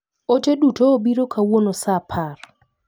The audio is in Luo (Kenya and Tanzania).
Ote duto obiro kawuono saa apar .